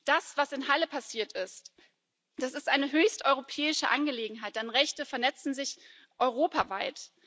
Das, was in Halle passiert ist, ist eine höchst europäische Angelegenheit, denn Rechte vernetzten sich europaweit.